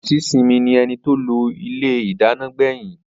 Aunty simi ni eni to lo ile idana gbeyin.